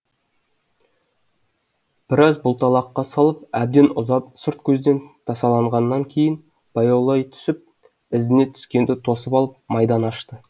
біраз бұлталаққа салып әбден ұзап сырт көзден тасаланғаннан кейін баяулай түсіп ізіне түскенді тосып алып майдан ашты